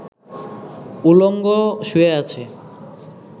উলঙ্গ শুয়ে আছে